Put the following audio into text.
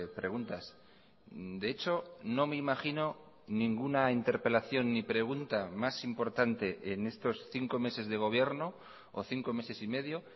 preguntas de hecho no me imagino ninguna interpelación ni pregunta más importante en estos cinco meses de gobierno o cinco meses y medio